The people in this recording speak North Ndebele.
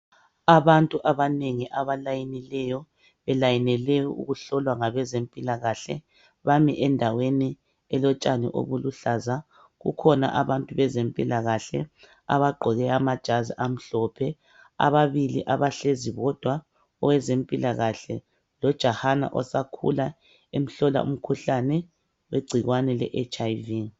Abantu abanengi abalayinileyo belayinele ukuhlolwa ngabezempilakahle bami endaweni belotshani obuluhlaza. Kukhona abantu bezempilakahle abagqoke amajazi amhlophe, ababili abahlezi bodwa awezempilakahle lojahana osakhula bemhlola ingcikwane leHIV.